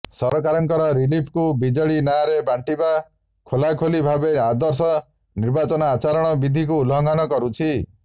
ସରକାରଙ୍କର ରିଲିଫକୁ ବିଜେଡି ନାଁରେ ବାଣ୍ଟିବା ଖୋଲାଖୋଲି ଭାବେ ଆଦର୍ଶ ନିର୍ବାଚନ ଆଚରଣ ବିଧିକୁ ଉଲ୍ଲଘଂନ କରୁଛି